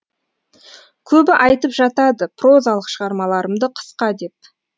көбі айтып жатады прозалық шығармаларымды қысқа деп